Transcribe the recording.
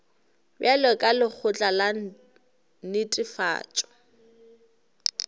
bjalo ka lekgotla la netefatšo